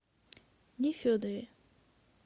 нефедове